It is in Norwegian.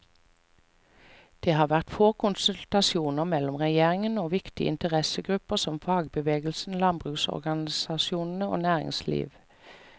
Det har vært få konsultasjoner mellom regjeringen og viktige interessegrupper som fagbevegelsen, landbruksorganisasjoner og næringsliv.